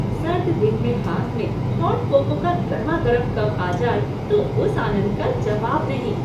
सर्द दिन में हाथ में हॉट कोको का गर्मागरम कप आ जाए तो उस आनंद का जवाब नहीं।